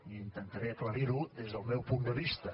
i intentaré aclarir ho des del meu punt de vista